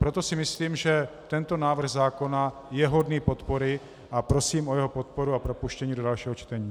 Proto si myslím, že tento návrh zákona je hodný podpory, a prosím o jeho podporu a propuštění do dalšího čtení.